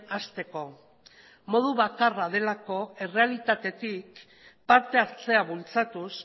hasteko modu bakarra delako errealitatetik parte hartzea bultzatuz